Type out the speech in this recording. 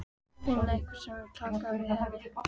Finna einhvern sem vill taka við henni.